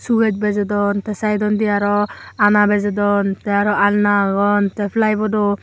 show kes bejodon te side dondi aro ana bejodon te aro alna agon te fly